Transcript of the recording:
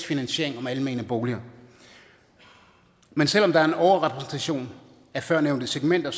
finansiering af almene boliger men selv om der er en overrepræsentation af førnævnte segmenter